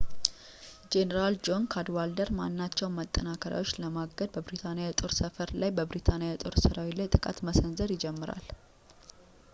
ጄኔራል ጆን ካድዋልደር ማናቸውንም ማጠናከሪያዎች ለማገድ በብሪታንያ የጦር ሰፈር ላይ በብሪታንያ የጦር ሰራዊት ላይ ጥቃት መሰንዘር ይጀምራል